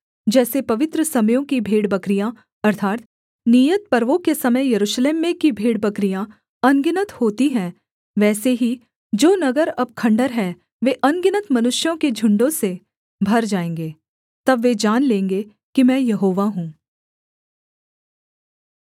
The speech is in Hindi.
जैसे पवित्र समयों की भेड़बकरियाँ अर्थात् नियत पर्वों के समय यरूशलेम में की भेड़बकरियाँ अनगिनत होती हैं वैसे ही जो नगर अब खण्डहर हैं वे अनगिनत मनुष्यों के झुण्डों से भर जाएँगे तब वे जान लेंगे कि मैं यहोवा हूँ